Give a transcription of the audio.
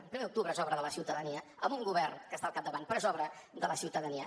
el primer d’octubre és obra de la ciutadania amb un govern que n’està al capdavant però és obra de la ciutadania